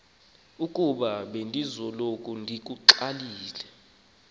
ukuba bendisoloko ndixakekile